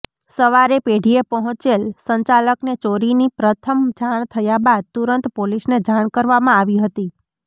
સવારે પેઢીએ પહોચેલ સંચાલકને ચોરીની પ્રથમ જાણ થયા બાદ તુરંત પોલીસને જાણ કરવામાં આવી હતી